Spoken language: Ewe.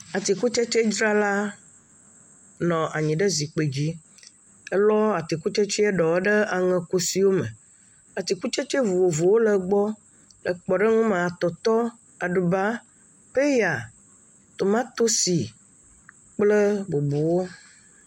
Atsikutsetsedzrala nɔ anyi we zikpui dzi elɔ atikutsetse ɖewo ɖe aŋekusi wo me, atikutsetse vovovowo le egbɔ, le kpɔɖeŋu me, aɖuba, peya, tomatosi, kple bubuwo.